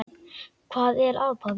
Hvað er að, pabbi?